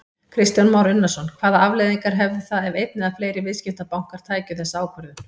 Kristján Már Unnarsson: Hvaða afleiðingar hefðu það ef einn eða fleiri viðskiptabankar tækju þessa ákvörðun?